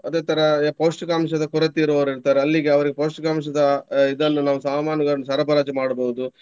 ಅದೇ ತರ ಪೌಷ್ಟಿಕಾಂಶದ ಕೊರತೆ ಇರುವವರು ಇರ್ತಾರೆ. ಅಲ್ಲಿಗೆ ಅವರು ಪೌಷ್ಟಿಕಾಂಶದ ಅಹ್ ಇದನ್ನು ನಾವು ಸಾಮಾನುಗಳನ್ನು ಸರಬರಾಜು ಮಾಡ್ಬಹುದು.